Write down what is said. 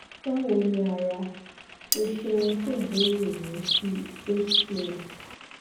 bawo ni ara o ṣeun fun ibeere rẹ si hcm